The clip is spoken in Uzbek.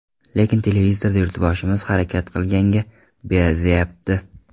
Lekin televizorda yurtboshimiz harakat qilganga ber, deyapti.